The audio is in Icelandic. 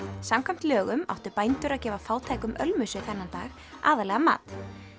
samkvæmt lögum áttu bændur að gefa fátækum ölmusu þennan dag aðallega mat